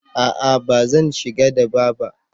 a'a ba zan shiga daba ba